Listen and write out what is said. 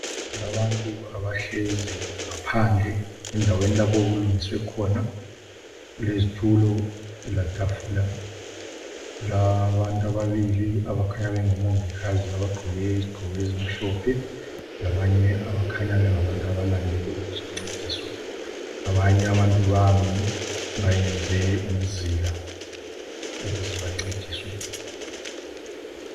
Kulabantu abahlezi ngaphandle, endaweni lapho okulungiswe khona kulezitulo letafula. Kulabantu ababili abakhanya bengomongikazi abagqoke izigqoko ezimhlophe. Labànye abakhanya bengabàntu abalande ukuzoncediswa. Abanye abantu bami beyenze umzila ukuze bancediswe.